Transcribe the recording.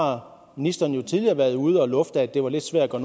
har ministeren jo tidligere været ude at lufte at det var lidt svært at